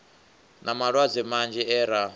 na malwadze manzhi e ra